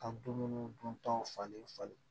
Ka dumuni duntaw falen falen